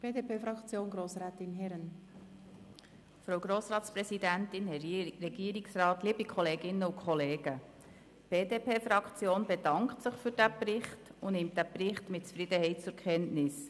Die BDP-Fraktion bedankt sich für diesen Bericht und nimmt ihn mit Zufriedenheit zur Kenntnis.